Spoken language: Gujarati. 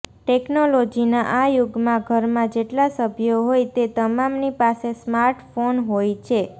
ટેક્નોલોજીના આ યુગમાં ઘરમાં જેટલા સભ્યો હોય તે તમામની પાસે સ્માર્ટફોન હોય છે